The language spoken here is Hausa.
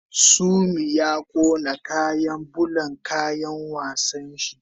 Sumi ya kona kayan bulan kayan wasan shi